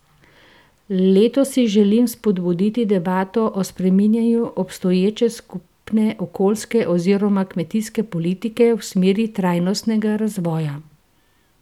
Letos si želim spodbuditi debato o spreminjanju obstoječe skupne okoljske oziroma kmetijske politike v smeri trajnostnega razvoja.